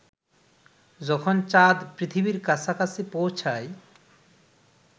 যখন চাঁদ পৃথিবীর কাছাকাছি পৌঁছায়